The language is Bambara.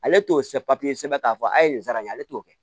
Ale t'o sɛbɛn k'a fɔ a ye nin sara ale t'o kɛ